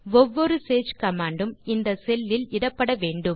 ஒவ்வொரு சேஜ் கமாண்ட் உம் இந்த செல் லில் இடப்பட வேண்டும்